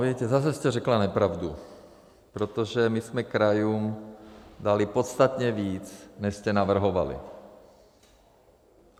Víte, zase jste řekla nepravdu, protože my jsme krajům dali podstatně víc, než jste navrhovali.